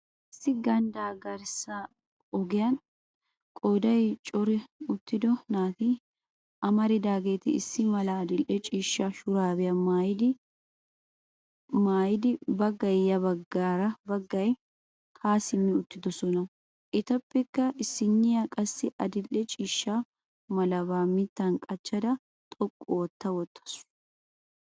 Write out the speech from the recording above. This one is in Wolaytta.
Issi ganddaa garssa ogiyan qooday corati uttido naati amaridaageeti issi mala adildhdhe ciishsha shuraabiya maayidi baggay yaa baggay haa simmi uttidosona. Etappekka issiniya qassi adildhdhe ciishsha malabaa mittan qachcha xoqqu ootta wottaasu.